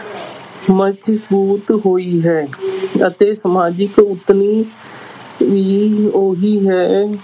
ਹੋਈ ਹੈ ਅਤੇ ਸਮਾਜਿਕ ਨੀ ਉਹੀ ਹੈ,